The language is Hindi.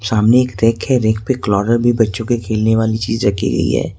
सामने एक रैक रैक पे भी बच्चों के खेलने वाली चीज रखी गई है।